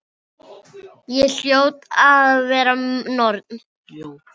Ég hljóti að vera norn.